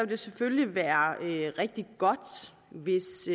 det selvfølgelig være rigtig godt hvis